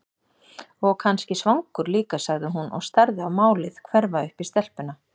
Og kannski svangur líka, sagði hún og starði á málið hverfa upp í stelpuna.